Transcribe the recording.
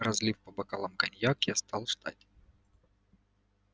разлив по бокалам коньяк я стал ждать